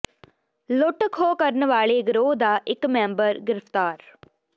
ਲੁੱਟ ਖੋਹ ਕਰਨ ਵਾਲੇ ਗਰੋਹ ਦਾ ਇੱਕ ਮੈਂਬਰ ਗ੍ਰਿਫ਼ਤਾਰ